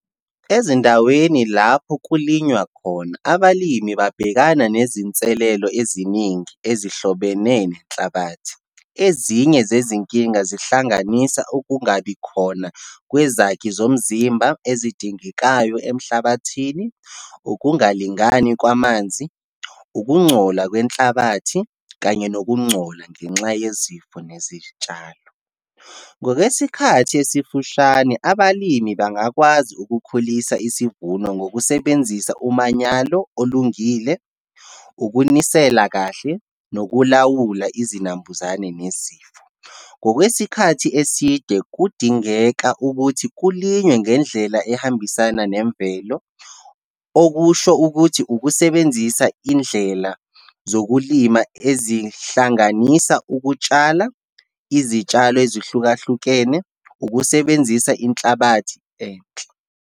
Ezindaweni lapho kulinywa khona, abalimi babhekana nezinselelo eziningi ezihlobene nenhlabathi. Ezinye zezinkinga zihlanganisa, ukungabi khona kwezakhi zomzimba ezidingekayo emhlabathini, ukungalingani kwamanzi, ukungcola kwenhlabathi kanye nokungcola ngenxa yezifo nezitshalo. Ngokwesikhathi esifushane, abalimi bangakwazi ukukhulisa isivuno ngokusebenzisa umanyalo olungile, ukunisela kahle, nokulawula izinambuzane nezifo. Ngokwesikhathi eside, kudingeka ukuthi kulinywe ngendlela ehambisana nemvelo, okusho ukuthi ukusebenzisa indlela zokulima ezihlanganisa ukutshala izitshalo ezihlukahlukene, ukusebenzisa inhlabathi enhle.